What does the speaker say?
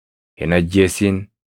Hin ajjeesin.